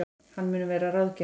Hann mun vera ráðgjafi